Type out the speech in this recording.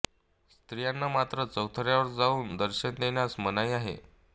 स्त्रियांना मात्र चौथऱ्यावर जाऊन दर्शन घेण्यास मनाई आहे